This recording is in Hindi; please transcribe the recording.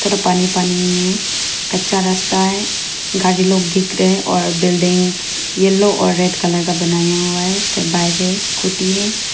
थोड़ा पानी पानी है कच्चा रास्ता है गाड़ी लोग दिख रहे हैं और बिल्डिंग येलो और रेड कलर का बनाया हुआ है इसके बाइक है स्कूटी है।